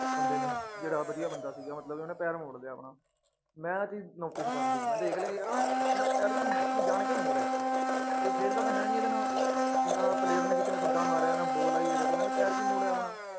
ਬੰਦੇ ਨੇ ਜਿਹੜਾ ਵਧੀਆ ਬੰਦਾ ਸੀਗਾ ਮਤਲਬ ਵੀ ਉਹਨੇ ਪੈਰ ਮੋੜ ਲਿਆ ਆਪਣਾ, ਮੈਂ ਆਹ ਚੀਜ਼ notice ਕਰ ਲਈ, ਮੈਂ ਦੇਖ ਲਿਆ ਯਾਰ ਆਹ ਬੰਦਾ ਪੈਰ ਕਿਉਂ ਇਹਨੇ ਜਾਣ ਕੇ ਮੋੜਿਆ, ਕੋਈ ਖੇਲਦਾ ਤਾਂ ਹੈ ਨੀ ਇਹਦੇ ਨਾਲ, ਤੇ ਨਾ player ਨੇ ਕਿਸੇ ਨੇ ਠੁੱਡਾ ਮਾਰਿਆ, ਨਾ ਬੋਲ ਆਈ ਇਹਦੇ ਕੋਲ, ਇਹਨੇ ਪੈਰ ਕਿਉਂ ਮੋੜਿਆ ਆਪਣਾ?